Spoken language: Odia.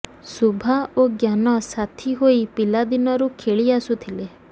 ଶୁଭା ଓ ଜ୍ଞାନ ସାଥି ହୋଇ ପିଲାଦିନରୁ ଖେଳି ଆସୁଥିଲେ